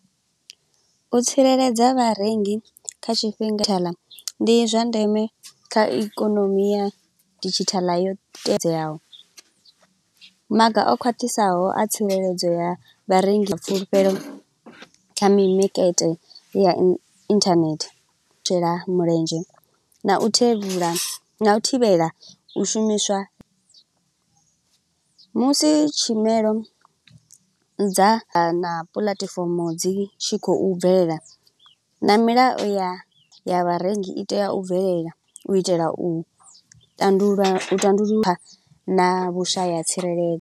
U tsireledza vharengi kha tshifhinga thala, ndi zwa ndeme kha ikonomi ya didzhithala yo teadzeaho. Maga a khwaṱhisaho a tsireledzo ya vharengi fulufhelo kha mimakete ya internet, tshela mulenzhe na u thevhula, na u thivhela u shumiswa. Musi tshumelo dza ha na puḽatifomo dzi tshi khou bvelela, na milayo ya ya vharengi i tea u bvelela. U itela u tandulula tandululwa na vhushaya tsirele.